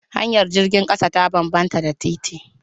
Hanyar jirgin ƙasa ta bambanta da titi